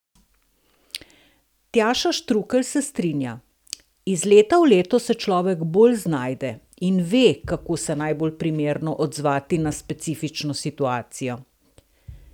Taša Štrukelj se strinja: 'Iz leta v leto se človek bolj znajde in ve, kako se najbolj primerno odzvati na specifično situacijo.